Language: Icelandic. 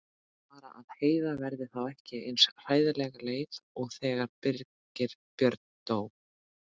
Bara að Heiða verði þá ekki eins hræðilega leið og þegar Birgir Björn dó.